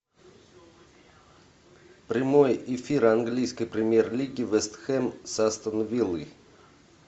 прямой эфир английской премьер лиги вест хэм с астон виллой